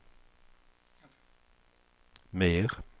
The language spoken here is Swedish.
mer